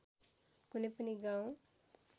कुनै पनि गाउँ